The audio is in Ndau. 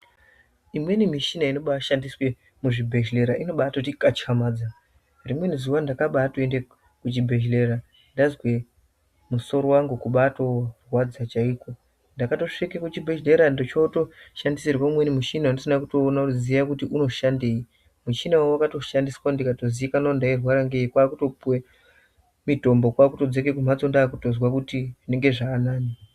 Imweni michina inobaashandiswe muzvibhedhlera unobaatikatyamadza rimweni zuwa ndakaende kuchibhedhlera ndazwa musoro wangu kubaatorwadza chaiko ndakatosvika kuchibhedhlera ndikashandisirwe umweni muchina wandisina kutoona ziya kuti unoshandei muchinawo wakatoshandiswa ndikatozikanwa kuti ndairwara ngei kwaakutopuwe mitombo kwaakutodzoke kumbatso ndaakutozwe kuti zvinenge zvaanani.